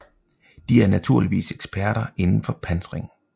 De er naturligvis eksperter indenfor pansring